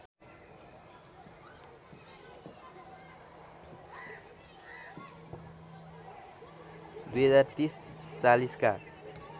२०३० ४० का